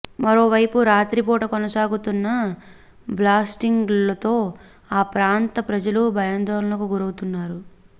మరోవైపు రాత్రిపూట కొనసాగుతున్న బ్లాస్టింగ్లతో ఆ ప్రాంత ప్రజలు భయాందోళనకు గురవుతున్నారు